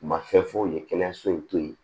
U ma fɛn foyi ye kɛnɛyaso to ye